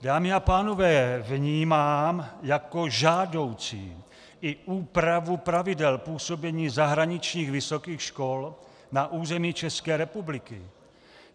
Dámy a pánové, vnímám jako žádoucí i úpravu pravidel působení zahraničních vysokých škol na území České republiky.